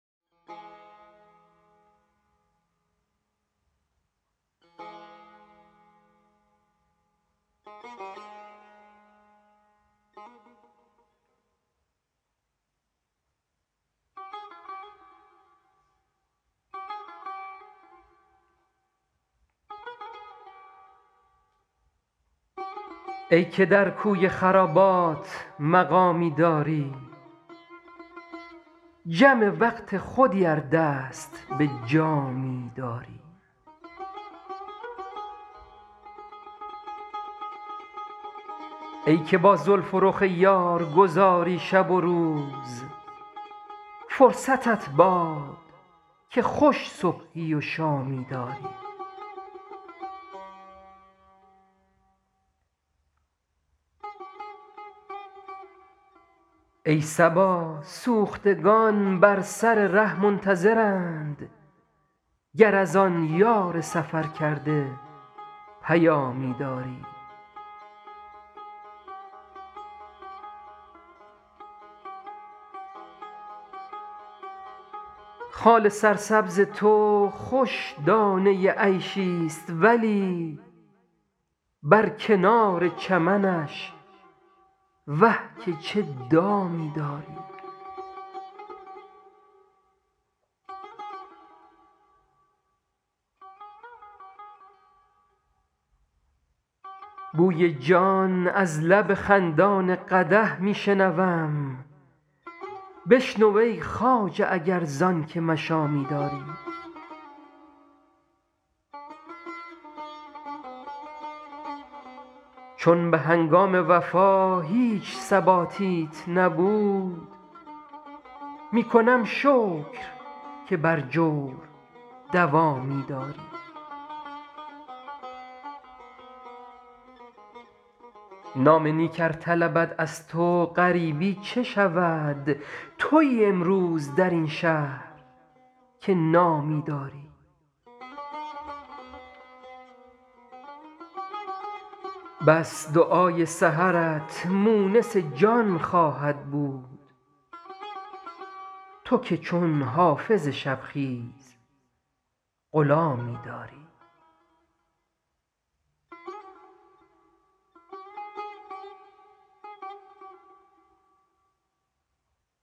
ای که در کوی خرابات مقامی داری جم وقت خودی ار دست به جامی داری ای که با زلف و رخ یار گذاری شب و روز فرصتت باد که خوش صبحی و شامی داری ای صبا سوختگان بر سر ره منتظرند گر از آن یار سفرکرده پیامی داری خال سرسبز تو خوش دانه عیشی ست ولی بر کنار چمنش وه که چه دامی داری بوی جان از لب خندان قدح می شنوم بشنو ای خواجه اگر زان که مشامی داری چون به هنگام وفا هیچ ثباتیت نبود می کنم شکر که بر جور دوامی داری نام نیک ار طلبد از تو غریبی چه شود تویی امروز در این شهر که نامی داری بس دعای سحرت مونس جان خواهد بود تو که چون حافظ شب خیز غلامی داری